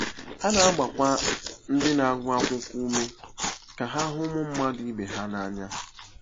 Ha na-agbakwa ndị na-agụ akwụkwọ ume ka ha hụ ụmụ mmadụ ibe ha n’anya.